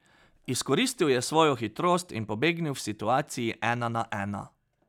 Izkoristil je svojo hitrost in pobegnil v situaciji ena na ena.